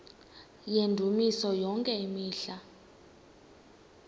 yendumiso yonke imihla